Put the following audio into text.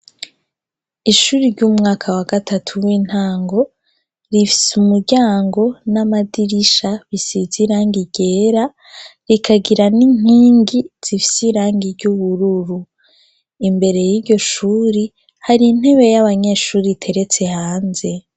Ishuri ry'umwaka wa gatatu w'intango rifise umuryango n'amadirisha bisize irangi ryera rikagira n'inkingi zifise irangi ry'ubururu. Imbere y'iryo shure hari intebe y'abanyeshure iteretse hanze.